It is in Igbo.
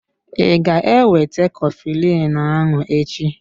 I ga-ewete coflin ahụ echi?